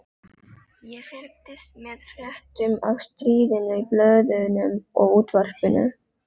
Ég fylgdist með fréttum af stríðinu í blöðunum og útvarpinu.